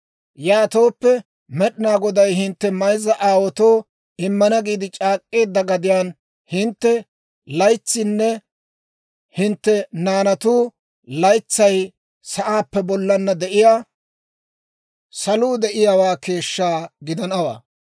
Yaatooppe, Med'inaa Goday hintte mayzza aawaatoo immana giide c'aak'k'eedda gadiyaan hintte laytsaynne hintte naanatu laytsay sa'aappe bollana de'iyaa saluu de'iyaawaa keeshshaa gidanawaa.